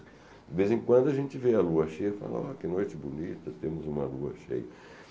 De vez em quando a gente vê a lua cheia e fala, ó, que noite bonita, temos uma lua cheia.